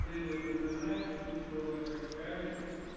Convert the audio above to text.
привет а ты знаешь такие слова как хайп